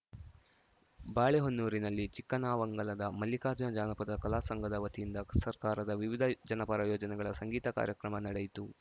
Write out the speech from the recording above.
ಬಾಳೆಹೊನ್ನೂರಿನಲ್ಲಿ ಚಿಕ್ಕಾನವಂಗಲದ ಮಲ್ಲಿಕಾರ್ಜುನ ಜಾನಪದ ಕಲಾ ಸಂಘದ ವತಿಯಿಂದ ಸರ್ಕಾರದ ವಿವಿಧ ಜನಪರ ಯೋಜನೆಗಳ ಸಂಗೀತ ಕಾರ್ಯಕ್ರಮ ನಡೆಯಿತು